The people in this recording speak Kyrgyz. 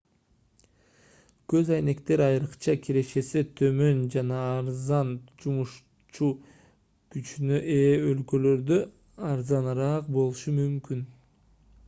көз айнектер айрыкча кирешеси төмөн жана арзан жумушчу күчүнө ээ өлкөлөрдө арзаныраак болушу мүмкүн